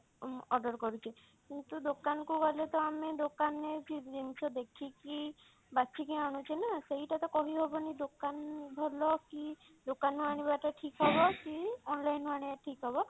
ଉଁ order କରୁଛେ କିନ୍ତୁ ଦୋକାନ କୁ ଗଲେ ତ ଆମେ ଦୋକାନ ରେ ଜିନିଷ ଦେଖିକି ବାଛିକି ଆନୁଛେ ନା ସେଇଟା ତ କହିହବନି ନା ଦୋକାନ ଭଲ କି ଦୋକାନ ରୁ ଆଣିବା ଟା ଠିକ ହବ କି online ରୁ ଆଣିବା ଟା ଠିକ ହବ?